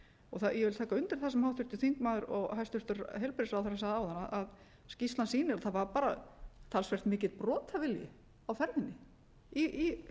og ég vil taka undir það sem háttvirtur þingmaður og hæstvirtur heilbrigðisráðherra sagði áðan að skýrslan sýnir að það var bara talsvert mikill brotavilji á ferðinni hjá ýmsum